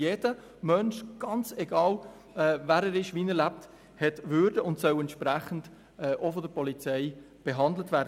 Jeder Mensch, ganz egal, wer er ist und wie er lebt, hat Würde und soll auch von der Polizei entsprechend behandelt werden.